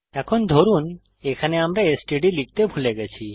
এখন ধরুন এখানে আমরা এসটিডি লিখতে ভুলে গেছি